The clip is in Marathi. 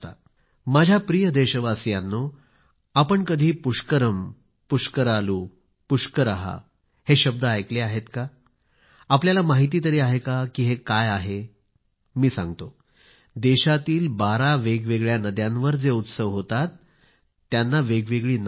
माझ्या प्रिय देशवासीयांनो आपण कधी पुष्करम पुष्करालू पुष्कर हे शब्द ऐकले आहेत का आपल्याला माहिती तरी आहे का की हे काय आहे मी सांगतो की देशातील बारा वेगवेगळ्या नद्यांवर जे उत्सव होतात त्यांना वेगवेगळी नावे आहेत